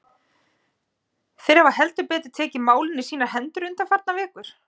Þeir hafa heldur betur tekið málin í sínar hendur undanfarnar vikur.